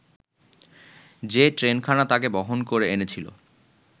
যে ট্রেনখানা তাকে বহন করে এনেছিল